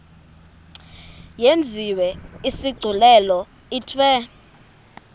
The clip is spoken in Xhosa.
yenziwe isigculelo ithiwe